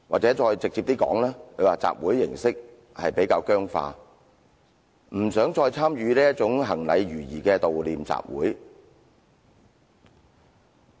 再直接一點的說，他們認為集會形式比較僵化，不想再參與這種行禮如儀的悼念集會。